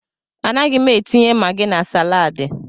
A naghị m etinye magi na salaadi.